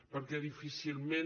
perquè difícilment